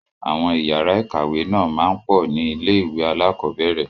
Àwọn ìyàrá-ìkàwé náà máa ń pọ̀ ní ilé-ìwé alákọ̀ọ́bẹ̀rẹ̀.